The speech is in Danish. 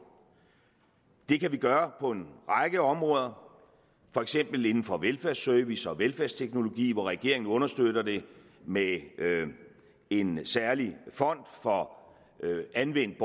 det kan vi gøre på en række områder for eksempel inden for velfærdsservice og velfærdsteknologi hvor regeringen understøtter det med en særlig fond for anvendt